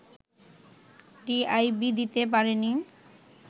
TIB দিতে পারে নি